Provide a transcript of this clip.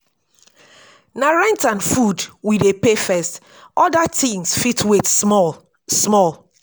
na rent and food we dey pay first oda tins fit wait small. small.